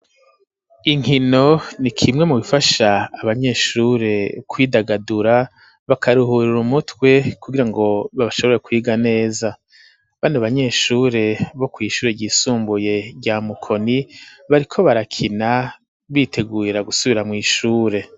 Inkino ni kimwe mu bifasha abanyeshure kwidagadura bakaruhurira umutwe kugira ngo babashobore kwiga neza bani abanyeshure bo kw'ishure ryisumbuye rya mukoni bariko barakina biteguira gusubira mw'ishure.